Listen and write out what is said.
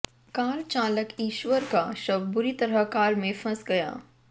car चालक ईश्वर का शव बुरी तरह कार में फंस गया